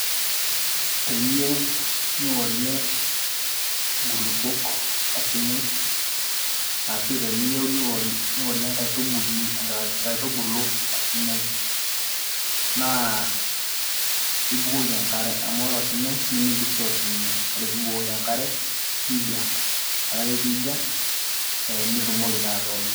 Teniyieu niorie nkulupuok osinyai, ashu teniyieu niorie enkaitubului inkaitubulu osinyai, naa ibukoki enkare. Amu ore osinyai, nimi dissolve ninye. Ore pibukoki enkare, nija. Ore ake pija, ah nitumoki taa atoorie.